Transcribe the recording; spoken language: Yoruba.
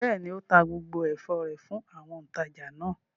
Bẹ́ẹ̀ ni, ó ta gbogbo ẹ̀fọ́ rẹ̀ fún àwọn òǹtajà náà.